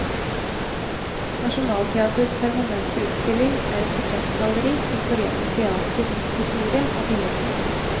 Nationaltheatrets permanente utstilling er et portrettgalleri som forener teater historie og billedkunst.